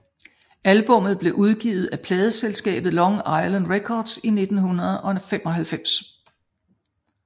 Albummet blev udgivet af pladeselskabet Long Island Records i 1995